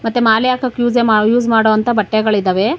ಮತ್ತೆ ಮಾಲೆ ಹಾಕೋಕೆ ಯೂಸೆ ಯೂಸ್ ಮಾಡೋವಂತ ಬಟ್ಟೆಗಳಿದಾವೆ.